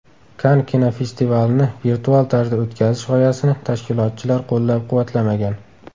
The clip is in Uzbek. Kann kinofestivalini virtual tarzda o‘tkazish g‘oyasini tashkilotchilar qo‘llab-quvvatlamagan.